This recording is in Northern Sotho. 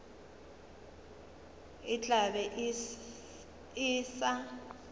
e tla be e sa